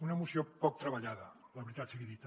una moció poc treballada la veritat sigui dita